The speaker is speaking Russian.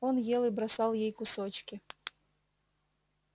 он ел и бросал ей кусочки